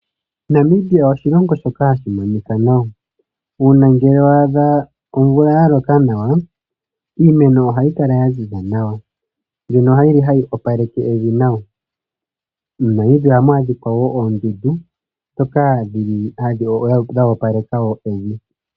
Namibia oshilongo shoka hashi monika nawa. Uuna ngele wa adha omvula ya loka nawa, iimeno ohayi kala ya ziza nawa mbyono yi li hayi opaleke evi nawa. MoNamibia ohamu adhika wo oondundu ndhoka dho opaleka wo evi.